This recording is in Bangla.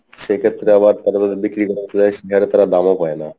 সেক্ষেত্রে আবার তারা যদি বিক্রি করতে যাই সে হারে তারা দামও পাই না।